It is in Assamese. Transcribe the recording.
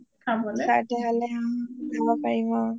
অ ওচৰতে হলে অঅঅ যাব পাৰিব